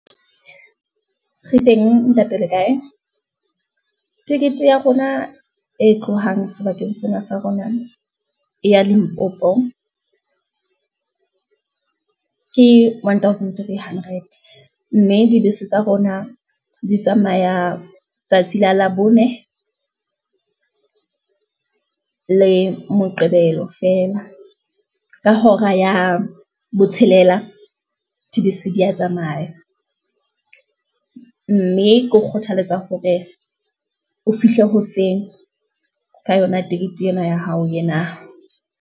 Re teng ntate le kae, ticket ya rona e tlohang sebakeng sena sa rona, e ya limpopo ke one thousand three hundred, mme dibese tsa rona di tsamaya tsatsi la labone le moqebelo feela, ka hora ya botshelela dibese di ya tsamaya. Mme ke o kgothaletsa hore o fihle hoseng, ka yona tikete ena ya hao yena.